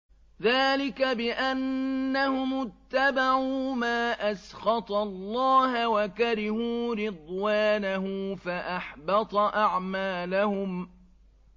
ذَٰلِكَ بِأَنَّهُمُ اتَّبَعُوا مَا أَسْخَطَ اللَّهَ وَكَرِهُوا رِضْوَانَهُ فَأَحْبَطَ أَعْمَالَهُمْ